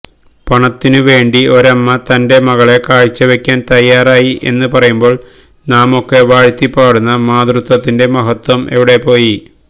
പണത്തിനു വേണ്ടി ഒരമ്മ തന്റെ മകളെ കാഴ്ചവയ്ക്കാന് തയ്യാറായി എന്ന് പറയുമ്പോള് നാമൊക്കെ വാഴ്ത്തിപ്പാടുന്ന മാതൃത്വത്തിന്റെ മഹത്വം എവിടെപ്പോയി